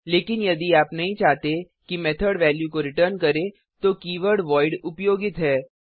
लेकिन यदि आप नहीं चाहते कि मेथड वैल्यू को रिटर्न करे तो कीवर्ड वॉइड उपयोगित है